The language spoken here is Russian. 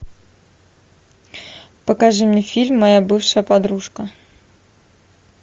покажи мне фильм моя бывшая подружка